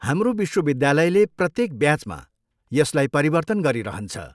हाम्रो विश्वविद्यालयले प्रत्येक ब्याचमा यसलाई परिवर्तन गरिरहन्छ।